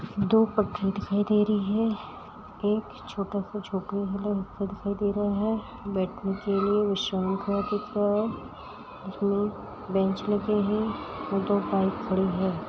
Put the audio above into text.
दो पटरी दिखाई दे रही है। एक छोटा सा झोपडी दिखाई दे रहा है। बैठने के लिए विश्रामगृह दिख रहा है जिसमे बेंच लगे है और दो बाइक खड़े है।